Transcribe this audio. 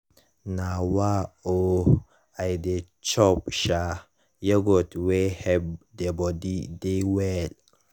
nah wah oh i dey chop um yoghurt wey help the body dey well.